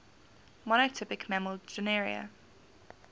monotypic mammal genera